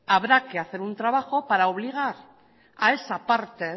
habrá que hacer un trabajo para obligar a esa parte